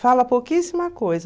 Fala pouquíssima coisa.